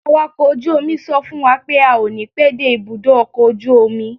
Awàkọ̀ ojú omi sọ fún wa pé a ó ní pẹ́ dé ibùdó ọkọ̀ ojú omi.